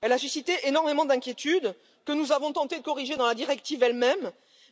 Elle a suscité énormément d'inquiétude que nous avons tenté de corriger dans la directive,